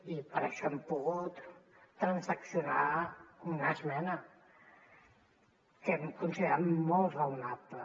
i per això hem pogut transaccionar una esmena que hem considerat molt raonable